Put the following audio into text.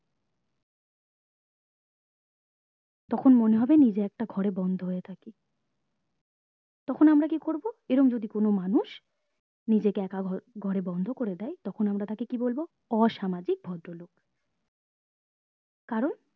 তখন মনে হবে নিজে একটা ঘরে বন্ধ হয়ে থাকি তখন আমরা কি করবো এরম যদি কোনো মানুষ নিজে কে একা ঘরে বন্ধ করে দেয় তখন আমরা তাকে কি বলবো অসামাজিক ভদ্র লোক কারণ